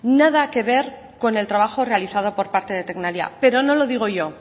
nada que ver con el trabajo realizado por parte de tecnalia pero no lo digo yo